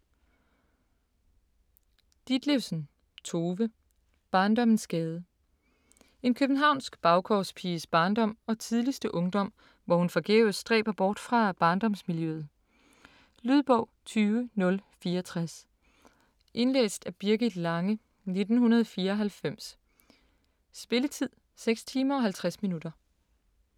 Ditlevsen, Tove: Barndommens gade En københavnsk baggårdspiges barndom og tidligste ungdom, hvor hun forgæves stræber bort fra barndomsmiljøet. Lydbog 20064 Indlæst af Birgit Lange, 1994. Spilletid: 6 timer, 50 minutter.